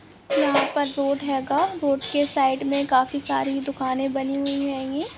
यहाँ पर बोर्ड हेगा का बोर्ड के साइड मे काफि सारे दुकाने बनी हुई हैंगी।